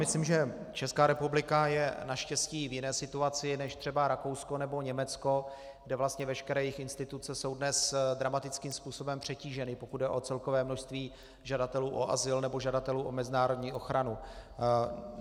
Myslím, že Česká republika je naštěstí v jiné situaci než třeba Rakousko nebo Německo, kde vlastně veškeré jejich instituce jsou dnes dramatickým způsobem přetíženy, pokud jde o celkové množství žadatelů o azyl nebo žadatelů o mezinárodní ochranu.